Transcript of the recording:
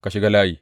Ka shiga layi.